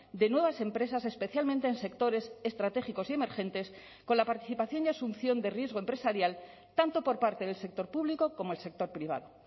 de nuevas empresas especialmente en sectores estratégicos y emergentes con la participación y asunción de riesgo empresarial tanto por parte del sector público como el sector privado